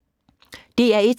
DR1